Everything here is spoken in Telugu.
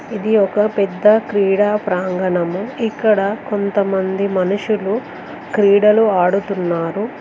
ఇది ఒక పెద్ద క్రీడా ప్రాంగణము ఇక్కడ కొంతమంది మనుషులు క్రీడలు ఆడుతున్నారు.